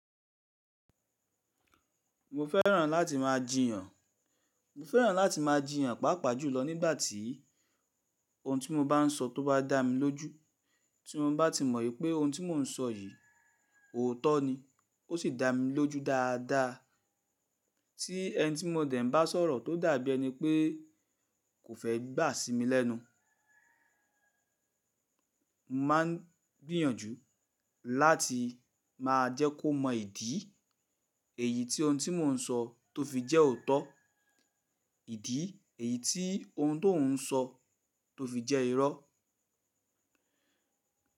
Mo fẹ́ràn láti máa jiyàn, mo fẹ́ràn láti máa jiyàn pàápàá jùlọ nígbà tí ohun tí mo bá sọ tó bá dá mi lójú tí mo bá ti mọ̀ pé ohun tí mò ń sọ yìí òótọ́ ni ó sì dá mi lójú dáadáa tí ẹni tí mo dẹ̀ ń bá sọ̀rọ̀ tó dàbí ẹni pé kò fẹ́ gbà á sí mi lẹ́nu. Mo máa n gbìyànjú láti máa jẹ́ kó mọ ìdí èyí tí ohun tí mò ń sọ tó fi jẹ́ òótọ́, ìdí èyí tí ohun tó ń sọ tó fi jẹ́ irọ́